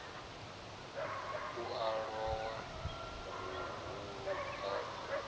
u a lowa vhuhulu a